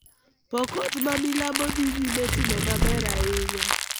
Pokot ma milambo dhi nyime timo maber ahinya